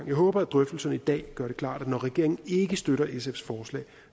jeg håber at drøftelserne i dag gør det klart at når regeringen ikke støtter sfs forslag